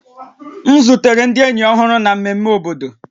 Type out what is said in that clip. M zutere ndị enyi ọhụrụ na mmemme obodo